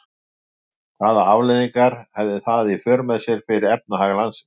Hvaða afleiðingar hefði það í för með sér fyrir efnahag landsins?